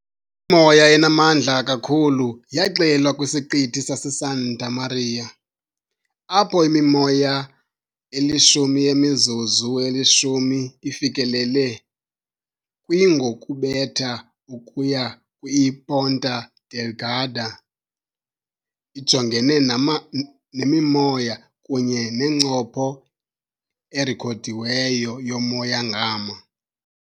Imimoya enamandla kakhulu yaxelwa kwiSiqithi saseSanta Maria, apho imimoya eyi-10 yemizuzu eyi-10 ifikelele kwi ngokubetha ukuya kwi . IPonta Delgada ijongene namimoya, kunye nencopho erekhodiweyo yomoya ngama .